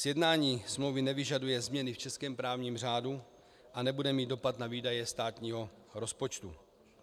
Sjednání smlouvy nevyžaduje změny v českém právním řádu a nebude mít dopad na výdaje státního rozpočtu.